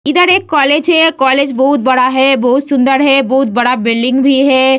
इधर एक कॉलेज है कॉलेज बहुत बड़ा है बहुत सुंदर है बहुत बड़ा बिल्डिंग भी है।